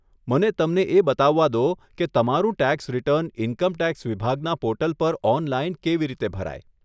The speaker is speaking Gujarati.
મને તમને એ બતાવવા દો કે તમારું ટેક્સ રીટર્ન ઇન્કમ ટેક્સ વિભાગના પોર્ટલ પર ઓનલાઈન કેવી રીતે ભરાય.